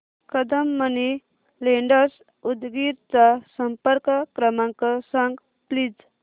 Kadam money lenders Udgir चा संपर्क क्रमांक सांग प्लीज